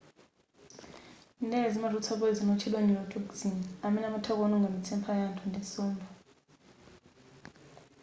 ndere zimatulutsa poyizoni otchedwa neurotoxin amene amatha kuononga mitsepha ya anthu ndi nsomba